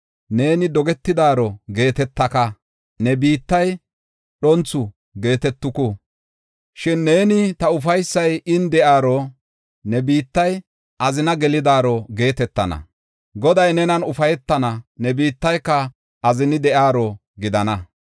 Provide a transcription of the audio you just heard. Neeni, “Dogetidaaro” geetetaka; ne biittiya, “Dhonthu” geetetuku. Shin neeni, “Ta ufaysay in de7iyaro”, ne biittiya, “Azina gelidaaro” geetetana. Goday nenan ufaytana; ne biittiyaka azini de7iyaro gidana.